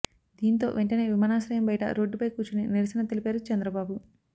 దీంతో వెంటనే విమానాశ్రయం బయట రోడ్డుపై కూర్చుని నిరసన తెలిపారు చంద్రబాబు